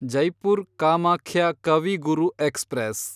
Jaipur Kamakhya Kavi Guru express